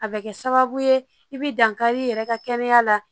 A bɛ kɛ sababu ye i bɛ dankari i yɛrɛ ka kɛnɛya la